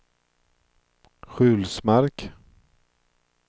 Sjulsmark